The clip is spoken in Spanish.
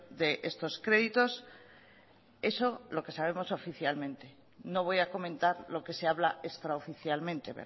d estos créditos eso lo que sabemos oficialmente no voy a comentar lo que se habla extraoficialmente